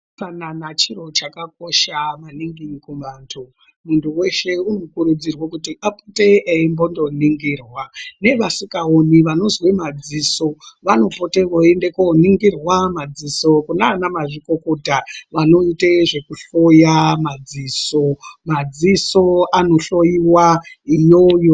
Utsanana chiro chakakosha maningi kuvantu, muntu weshe urikukuurudzirwe kuti apote eimbondoningirwa, nevasingaoni vanonzwe madziso vanopete veindoningirwa madziso kunana mazvikokota vanoite zvekuhloya madziso , madziso anohloiwa iyoyo.